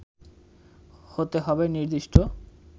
হতে হবে নির্দিষ্ট